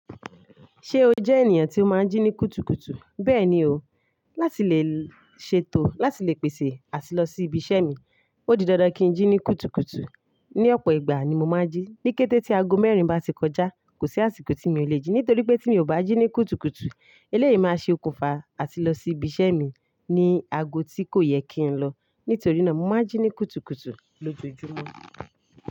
Ṣé o jẹ́ ènìyàn tí o máa ń jí ní kùtùkùtù? Bẹ́ẹ̀ni o, láti lè ṣètò, láti lè pèsè àti lọ sí ibi iṣẹ́ mi, ó di dandan kí n jí ní kùtùkùtù. Ni ọ̀pọ̀ ìgbà ni mo máa ń jí, ní kété tí aago mẹ́rin bá ti kọjá, kò sí àsìkò tí mi o le jí, nítorí pé tí mi ò bá jí ní kùtùkùtù, eléyìí máa ṣe okùnfà àti lọ sí ibi iṣẹ́ mi ní aago tí kò yẹ kí n lọ. Nítorí náà, mo máa ń jí ní kùtùkùtù lójoojúmọ́.